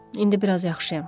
İndi biraz yaxşıyam.